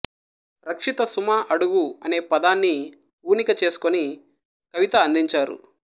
రక్షిత సుమ అడుగు అనే పదాన్ని ఊనిక చేసుకుని కవిత అందించారు